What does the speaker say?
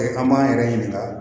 an b'an yɛrɛ ɲininka